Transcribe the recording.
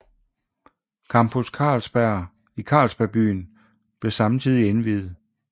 Campus Carlsberg i Carlsberg Byen blev samtidig indviet